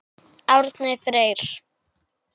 Árni Freyr.